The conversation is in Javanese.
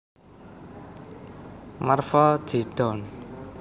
Marva J Dawn